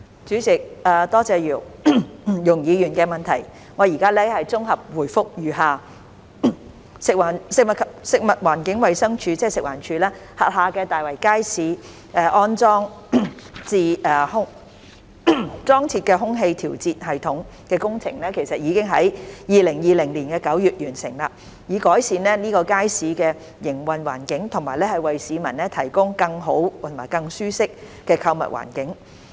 主席，多謝容議員的質詢，我現作綜合回覆如下：食物環境衞生署轄下大圍街市裝設空氣調節系統的工程已在2020年9月完成，以改善該街市的營運環境和為市民提供更好及舒適的購物環境。